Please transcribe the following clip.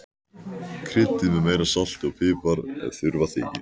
Kryddið með meira salti og pipar ef þurfa þykir.